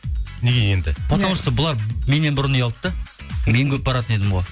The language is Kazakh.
неге енді потому что бұлар меннен бұрын үй алды да мен көп баратын едім ғой